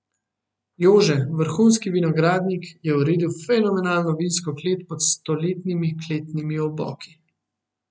Jože, vrhunski vinogradnik, je uredil fenomenalno vinsko klet pod stoletnimi kletnimi oboki.